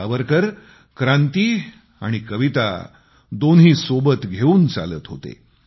सावरकर क्रांती आणि कविता दोन्ही सोबत घेऊन चालत होते